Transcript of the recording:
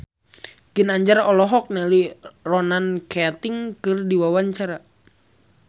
Ginanjar olohok ningali Ronan Keating keur diwawancara